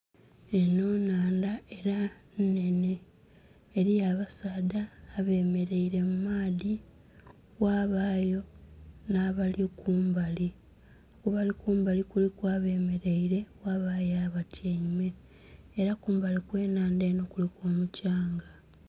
Enho nnhandha era nnhenhe eriyo abasaadha abemereire mu maadhi ghabagho nhabali kumbali kubali kumbali kuliku abemereire ghabagho abatyeime era kubali okwa nnhandha kuli omukyanga